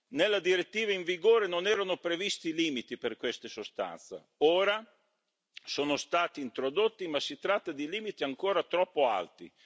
Nella direttiva in vigore non erano previsti limiti per queste sostanze, ora sono stati introdotti ma si tratta di limiti ancora troppo alti!